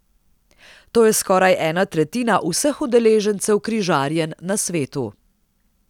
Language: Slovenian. To je skoraj ena tretjina vseh udeležencev križarjenj na svetu.